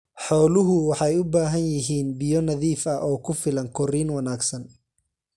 Xooluhu waxay u baahan yihiin biyo nadiif ah oo ku filan korriin wanaagsan.